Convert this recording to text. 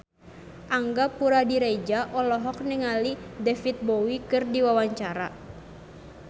Angga Puradiredja olohok ningali David Bowie keur diwawancara